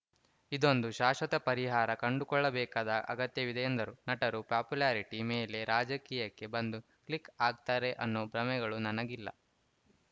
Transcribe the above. ಇದೊಂದು ಶಾಶ್ವತ ಪರಿಹಾರ ಕಂಡುಕೊಳ್ಳಬೇಕಾದ ಅಗತ್ಯವಿದೆ ಎಂದರು ನಟರು ಪಾಪ್ಯುಲಾರಿಟಿ ಮೇಲೆ ರಾಜಕೀಯಕ್ಕೆ ಬಂದು ಕ್ಲಿಕ್‌ ಆಗ್ತಾರೆ ಅನ್ನೋ ಭ್ರಮೆಗಳು ನನಗಿಲ್ಲ